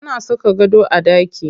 Ana saka gado a ɗaki.